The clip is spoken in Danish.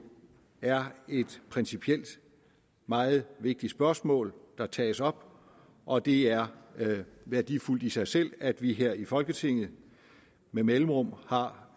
er et principielt meget vigtigt spørgsmål der tages op og det er værdifuldt i sig selv at vi her i folketinget med mellemrum har